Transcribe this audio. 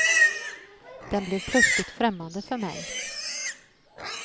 Den blev plötsligt främmande för mig.